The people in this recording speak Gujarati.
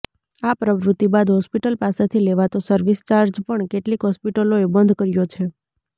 આ પ્રવૃત્તિ બાદ હોસ્પિટલ પાસેથી લેવાતો સર્વિસ ચાર્જ પણ કેટલીક હોસ્પિટલોએ બંધ કર્યો છે